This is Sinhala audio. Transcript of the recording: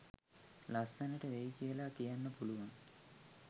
ලස්සනට වෙයි කියලා කියන්න පුළුවන්.